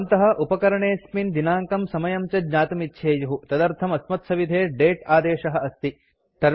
भवन्तः उपकरणे॓स्मिन् दिनाङ्कं समयं च ज्ञातुमिच्छेयुः तदर्थं अस्मत्सविधे दते आदेशः अस्ति